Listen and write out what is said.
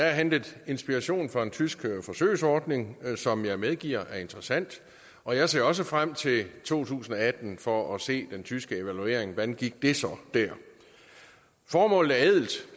er hentet inspiration fra den tyske forsøgsordning som jeg medgiver er interessant og jeg ser også frem til to tusind og atten for at se den tyske evaluering hvordan gik det så der formålet er ædelt